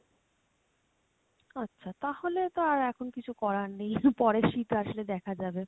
আচ্ছা তাহলে তো আর এখন কিছু করার নেই পরে শীত আসলে দেখা যাবে।